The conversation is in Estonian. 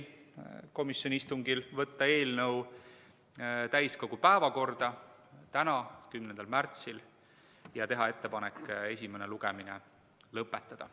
Komisjoni istungil otsustati võtta eelnõu täiskogu päevakorda täna, 10. märtsil ja teha ettepanek esimene lugemine lõpetada.